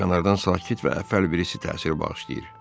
Kənardan sakit və əffəl birisi təsiri bağışlayır.